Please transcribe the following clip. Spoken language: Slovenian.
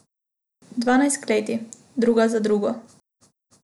Dvanajst kleti, druga za drugo!